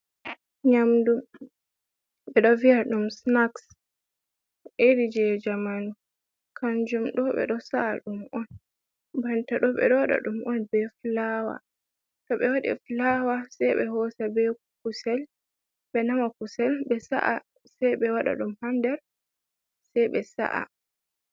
Nyamdu, ɓe ɗo vi'a ɗum snaks, iri je jamanu, kanjum ɗo ɓe ɗo sa’a ɗum on, banta ɗo, ɓe ɗo waɗa ɗum on be fulaawa, to ɓe waɗi fulaawa se ɓe hoosa be kusel, ɓe nama kusel, ɓe sa’a se ɓe waɗa ɗum ha nder, se ɓe sa’a.